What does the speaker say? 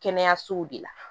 Kɛnɛyasow de la